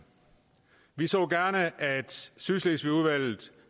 vi så gerne at sydslesvigudvalget